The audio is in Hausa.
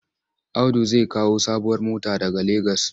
Audu zai kawo sabuwar mota daga Legas.